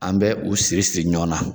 An bɛ u siri siri ɲɔgɔn na.